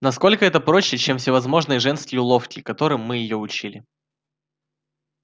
насколько это проще чем всевозможные женские уловки которым мы её учили